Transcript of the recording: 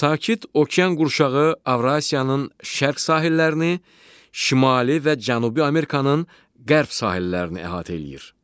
Sakit Okean qurşağı Avrasiyanın şərq sahillərini, Şimali və Cənubi Amerikanın qərb sahillərini əhatə eləyir.